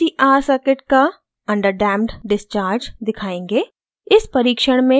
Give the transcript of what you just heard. अब हम lcr circuit का under damped discharge दिखायेंगे